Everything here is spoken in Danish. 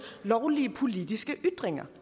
lovlige politiske ytringer